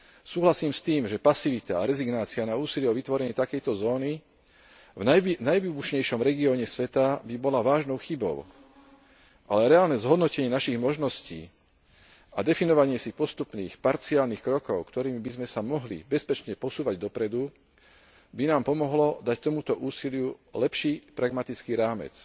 Súhlasím s tým, že pasivita a rezignácia na úsilie o vytvorenie takejto zóny v najvýbušnejšom regióne sveta by bola vážnou chybou, ale reálne zhodnotenie našich možností a definovanie si postupných parciálnych krokov, ktorými by sme sa mohli bezpečne posúvať dopredu, by nám pomohlo dať tomuto úsiliu lepší pragmatický rámec.